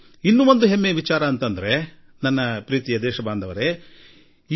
ನನ್ನ ಆತ್ಮೀಯ ದೇಶವಾಸಿಗಳೆ ನಾವು ಮತ್ತೂ ಒಂದು ಮಹತ್ವದ ಸಂಗತಿಯ ಬಗ್ಗೆ ಹೆಮ್ಮೆಪಡೋಣ